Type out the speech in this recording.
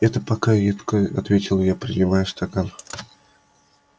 это пока едко ответил я принимая стакан